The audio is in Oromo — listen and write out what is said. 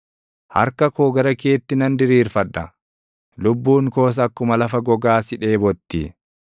Harka koo gara keetti nan diriirfadha; lubbuun koos akkuma lafa gogaa si dheebotti.